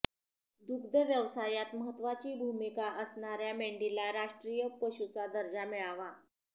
दुग्ध व्यवसायात महत्त्वाची भूमिका असणाऱ्या मेंढीला राष्ट्रीय पशुचा दर्जा मिळावा